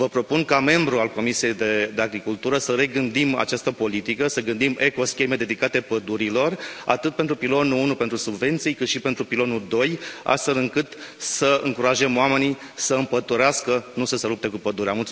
Vă propun, ca membru al Comisiei pentru agricultură, să regândim această politică, să gândim eco scheme dedicate pădurilor, atât pentru pilonul unu pentru subvenții, cât și pentru pilonul doi, astfel încât să încurajăm oamenii să împădurească, nu să se lupte cu pădurea.